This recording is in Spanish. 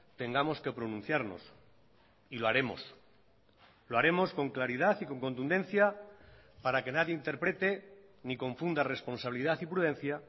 tengamos que pronunciarnos y lo haremos lo haremos con claridad y con contundencia para que nadie interprete ni confunda responsabilidad y prudencia